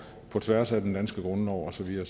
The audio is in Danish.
på tværs af den danske grundlov og så videre